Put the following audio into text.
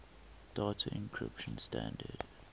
data encryption standard